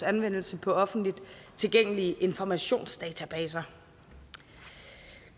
anvendelse på offentligt tilgængelige informationsdatabaser